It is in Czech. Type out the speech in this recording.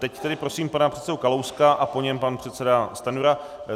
Teď tedy prosím pana předsedu Kalouska a po něm pan předseda Stanjura.